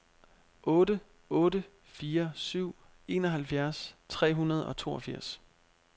otte otte fire syv enoghalvfjerds tre hundrede og toogfirs